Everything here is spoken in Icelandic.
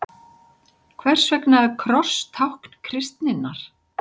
Hvers vegna er kross tákn kristninnar?